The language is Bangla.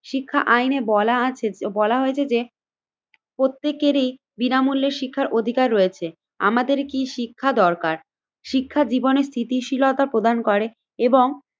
শিক্ষা আইনে বলা আছে বলা হয়েছে যে প্রত্যেকেরই বিনামূল্যে শিক্ষার অধিকার রয়েছে। আমাদের কি শিক্ষা দরকার? শিক্ষা জীবনে স্থিতিশীলতা প্রদান করে এবং